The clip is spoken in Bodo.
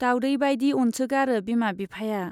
दाउडै बाइदि अनसोगारो बिमा बिफाया।